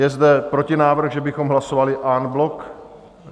Je zde protinávrh, že bychom hlasovali en bloc?